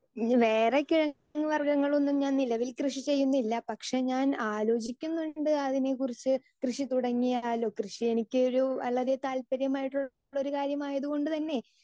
speaker 2 ഇനി വേറെ കിഴങ്ങ് വർഗങ്ങൾ ഒന്നും ഞാൻ നിലവിൽ കൃഷി ചെയ്യുന്നില്ല പക്ഷെ ഞാൻ ആലോചിക്കുന്നുണ്ട് അതിനെ കുറിച്ച് കൃഷി തുടങ്ങിയാലോ കൃഷി എനിക്ക് ഒരു വളരെ താല്പര്യമായിട്ടുള്ളൊരു കാര്യം ആയതുകൊണ്ട് തന്നെ